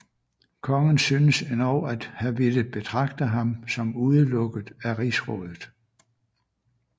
Kongen synes endog at have villet betragte ham som udelukket af rigsrådet